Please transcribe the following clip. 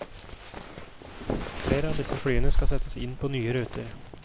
Flere av disse flyene skal settes inn på nye ruter.